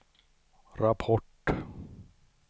rapport